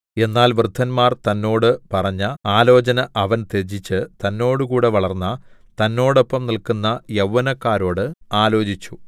എന്നാൽ വൃദ്ധന്മാർ തന്നോട് പറഞ്ഞ ആലോചന അവൻ ത്യജിച്ച് തന്നോടുകൂടെ വളർന്ന തന്നോടൊപ്പം നില്ക്കുന്ന യൗവനക്കാരോട് ആലോചിച്ചു